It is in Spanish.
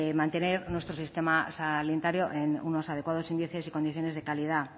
mantener nuestro sistema sanitario en unos adecuados índices y condiciones de calidad